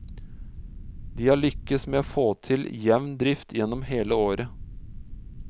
De har lyktes med å få til jevn drift gjennom hele året.